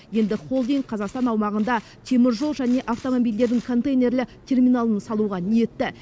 енді холдинг қазақстан аумағында теміржол және автомобильдердің контейнерлі терминалын салуға ниетті